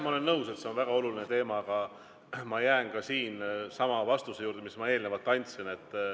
Ma olen nõus, et see on väga oluline teema, aga ma jään ka siin sama vastuse juurde, mis ma eelnevalt andsin.